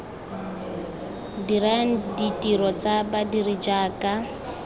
dirang ditiro tsa badiri jaaka